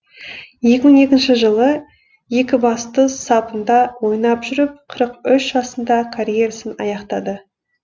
екі мың екінші жылы екібастұз сапында ойнап жүріп қырық үш жасында карьерасын аяқтады